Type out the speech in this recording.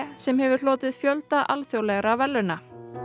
sem hefur hlotið fjölda alþjóðlega verðlauna